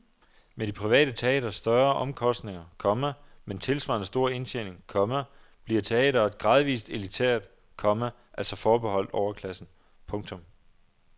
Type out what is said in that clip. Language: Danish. Med de private teatres større omkostninger, komma men tilsvarende store indtjening, komma bliver teatret gradvist elitært, komma altså forbeholdt overklassen. punktum